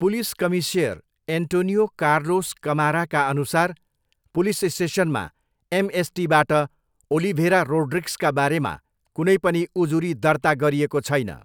Police commissioner Antonio Carlos कमाराका अनुसार, police स्टेसनमा एमएसटीबाट ओलिभेरा रोड्रिग्सका बारेमा कुनै पनि उजुरी दर्ता गरिएको छैन।